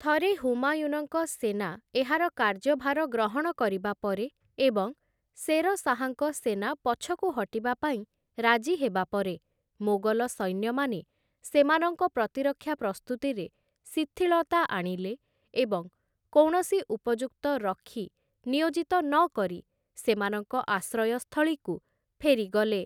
ଥରେ ହୁମାୟୁନଙ୍କ ସେନା ଏହାର କାର୍ଯ୍ୟଭାର ଗ୍ରହଣ କରିବା ପରେ ଏବଂ ଶେର ଶାହାଙ୍କ ସେନା ପଛକୁ ହଟିବାପାଇଁ ରାଜି ହେବା ପରେ, ମୋଗଲ ସୈନ୍ୟମାନେ ସେମାନଙ୍କ ପ୍ରତିରକ୍ଷା ପ୍ରସ୍ତୁତିରେ ଶିଥିଳତା ଆଣିଲେ ଏବଂ କୌଣସି ଉପଯୁକ୍ତ ରକ୍ଷୀ ନିୟୋଜିତ ନକରି ସେମାନଙ୍କ ଆଶ୍ରୟସ୍ଥଳୀକୁ ଫେରିଗଲେ ।